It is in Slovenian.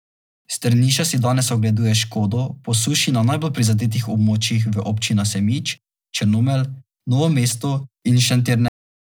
Strniša si danes ogleduje škodo po suši na najbolj prizadetih območjih v občinah Semič, Črnomelj, Novo mesto in Šentjernej.